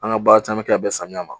An ka baara caman bi kɛ ka bɛn sanɲa ma.